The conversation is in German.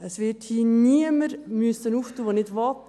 Es wird hier niemand öffnen müssen, der nicht will.